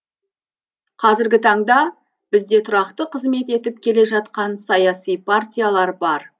қазіргі таңда бізде тұрақты қызмет етіп келе жатқан саяси партиялар бар